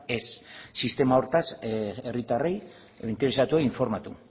ez sistema horretaz herritarrei edo interesatuei informatu